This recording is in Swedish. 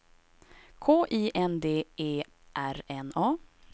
K I N D E R N A